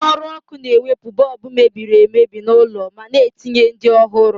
Onye ọrụ ọkụ na-ewepu bọọbụ mebiri emebi n’ụlọ mana na-etinye ndị ọhụrụ.